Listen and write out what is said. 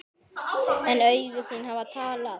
En augu þín hafa talað.